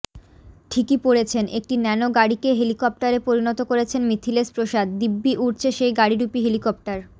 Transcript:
ঠিকই পড়েছেন একটি ন্যানো গাড়িকে হেলিকপ্টারে পরিণত করেছেন মিথিলেশ প্রসাদ দিব্যি উড়ছে সেই গাড়িরূপী হেলিকপ্টার